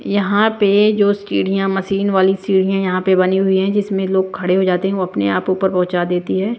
यहाँ पे जो सीढ़ियाँ मशीन वाली सीढ़ियाँ यहाँ पे बनी हुई है जिसमें लोग खड़े हो जाते है वो अपने आप ऊपर पहुंचा देती है।